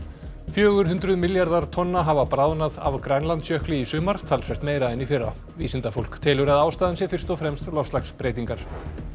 fjögur hundruð milljarðar tonna hafa bráðnað af Grænlandsjökli í sumar talsvert meira en í fyrra vísindafólk telur að ástæðan sé fyrst og fremst loftslagsbreytingar